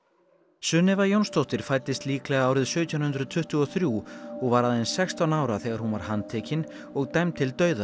Sunnefa Jónsdóttir fæddist líklega árið sautján hundruð tuttugu og þrjú og var aðeins sextán ára þegar hún var handtekin og dæmd til dauða